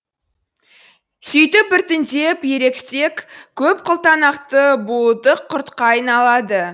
сөйтіп біртіндеп ерепсек көпқылтанақты буылтық құртқа айналады